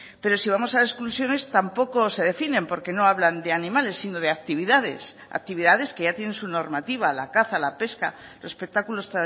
pero si vamos a exclusiones tampoco se definen porque no hablan de animales sino de actividades actividades que ya tienen su normativa la caza la pesca los espectáculos